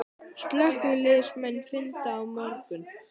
Slökkviliðsmenn funda á morgun